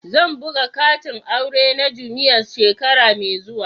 Zan buga katin aure na jummais shekara mai zuwa.